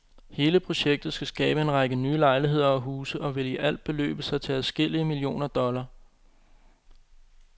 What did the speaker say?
Hele projektet skal skabe en række nye lejligheder og huse og vil i alt beløbe sig til adskillige millioner dollar.